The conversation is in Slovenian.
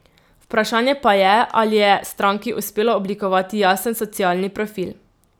Vprašanje pa je, ali je stranki uspelo oblikovati jasen socialni profil.